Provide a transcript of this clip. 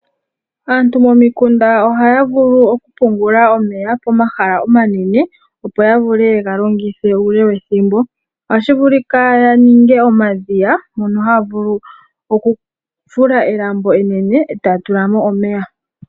Aantu momikunda ohaya vulu oku pungula omeya pomahala omanene, opo ya vule yega longithe uule wethimbo. Ohashi vulika ya ninge omadhiya mono haya vulu okufula elambo enene etaya tula mo omeya.